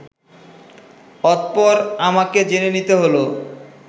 অতঃপর আমাকে জেনে নিতে হলো